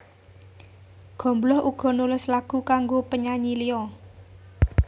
Gombloh uga nulis lagu kanggo penyanyi liya